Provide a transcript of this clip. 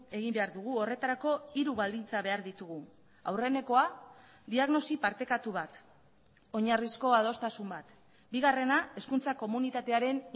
egin behar dugu horretarako hiru baldintza behar ditugu aurrenekoa diagnosi partekatu bat oinarrizko adostasun bat bigarrena hezkuntza komunitatearen